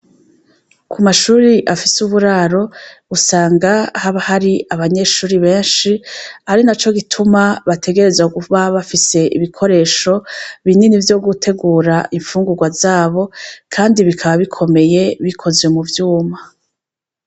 Kumashuri afise uburaro usanga haba hari abanyeshuri benshi arinaco gituma bategerezwa kuba bafise ibikoresho binini vyo gutegura ifungurwa zabo kandi bikaba bikomeye bikozwe muvyuma